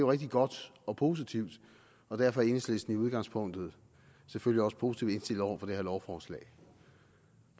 rigtig godt og positivt og derfor er enhedslisten i udgangspunktet selvfølgelig også positivt indstillet over for det her lovforslag